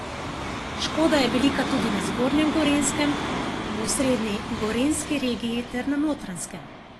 Škoda je velika tudi na zgornjem Gorenjskem, v osrednji gorenjski regiji ter na Notranjskem.